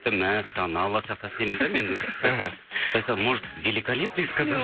мәссаған алла сақтасын деймін де мен может великолепный сказал